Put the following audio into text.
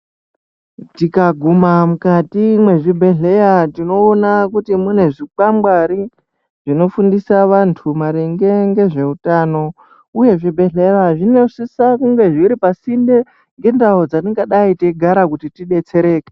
Tikaguma mukati mwezvibhedhlera tinoona kuti munezvikwangwari zvinofundisa vantu maringe ngezveutano uye zvibhedhlera zvinosisa kunge zviri pa sinde ngendau dzatingadai teigara kuti tibetsereke.